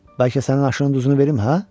Bəlkə sənin aşının duzunu verim, hə?